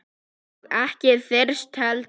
Og ekki þyrst heldur.